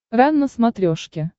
рен на смотрешке